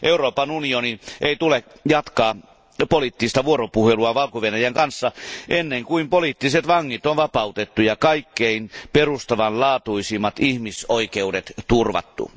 Euroopan unionin ei tule jatkaa poliittista vuoropuhelua Valko Venäjän kanssa ennen kuin poliittiset vangit on vapautettu ja kaikkein perustavanlaatuisimmat ihmisoikeudet turvattu.